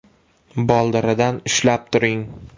Boldiridan ushlab turing.